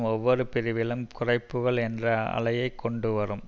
ஒவ்வொரு பிரிவிலும் குறைப்புக்கள் என்ற அலையைக் கொண்டு வரும்